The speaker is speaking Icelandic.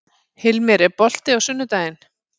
Hilmir, er bolti á sunnudaginn?